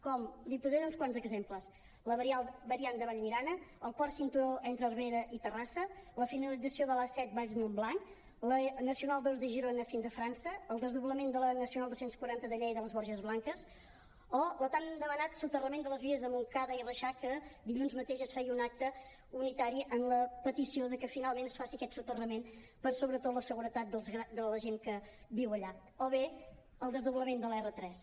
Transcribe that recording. n’hi posaré uns quants exemples la variant de vallirana el quart cinturó entre abrera i terrassa la finalització de l’a set valls montblanc la nacional ii de girona fins a frança el desdoblament de la nacional dos cents i quaranta de lleida a les borges blanques o el tan demanat soterrament de les vies de montcada i reixac que dilluns mateix es feia un acte unitari amb la petició de que finalment es faci aquest soterrament per a sobretot la seguretat de la gent que viu allà o bé el desdoblament de l’r tres